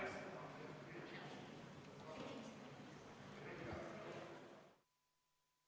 Istungi lõpp kell 11.24.